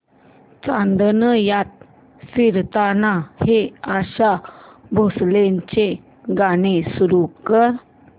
चांदण्यात फिरताना हे आशा भोसलेंचे गाणे सुरू कर